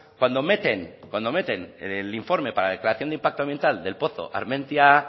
cuando meten cuando meten el informe para la declaración de impacto ambiental del pozo armentia